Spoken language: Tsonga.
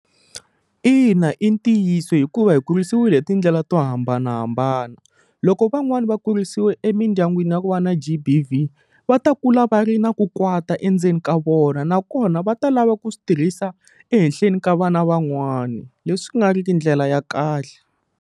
Ina i ntiyiso hikuva hi kurisiwile hi ti ndlela to hambanahambana loko van'wani va kurisiwe emindyangwini ya ku va na G_B_V va ta kula va ri na ku kwata endzeni ka vona nakona va ta lava ku swi tirhisa ehenhleni ka vana van'wani leswi ku nga ri ki ndlela ya kahle.